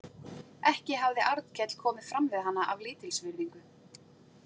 Ekki hafði Arnkell komið fram við hana af lítilsvirðingu.